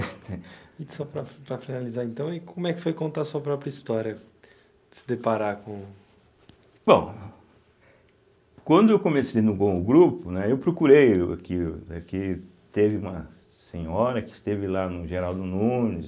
E só para para finalizar, então, e como é que foi contar a sua própria história, se deparar com... Bom, quando eu comecei no o grupo, né, eu procurei, o aqui, é que teve uma senhora que esteve lá no Geraldo Nunes,